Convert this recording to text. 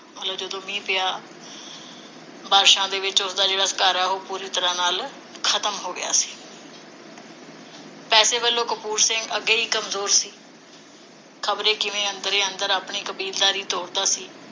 ਮਤਲਬ ਜਦੋਂ ਮੀਂਹ ਪਿਆ, ਬਾਰਿਸ਼ਾਂ ਦੇ ਵਿਚ ਉਸਦਾ ਜਿਹੜਾ ਘਰ ਹੈ ਉਹ ਪੂਰੀ ਤਰਾਂਹ ਨਾਲ ਖਤਮ ਹੋ ਗਿਆ ਸੀ ਪੈਸੇ ਵਲੋਂ ਕਪੂਰ ਸਿੰਘ ਅੱਗੇ ਹੀ ਕਮਜ਼ੋਰ ਸੀ। ਖਬਰੇ ਕਿਵੇਂ ਅੰਦਰੇ ਅੰਦਰ ਆਪਣੀ ਕਬੀਲਦਾਰੀ ਤੋਰਦਾ ਸੀ।